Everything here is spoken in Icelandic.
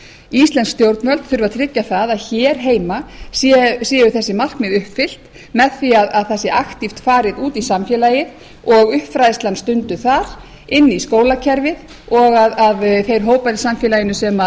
íslensk stjórnvöld þurfa að tryggja að hér heima séu þessi markmið uppfyllt með því að það sé aktíft farið út í samfélagið og uppfræðslan stunduð þar inn í skólakerfið og að þeir hópar í samfélaginu sem